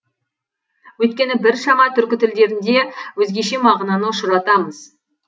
өйткені біршама түркі тілдерінде өзгеше мағынаны ұшыратамыз